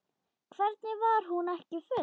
Hvernig var hún ekki full?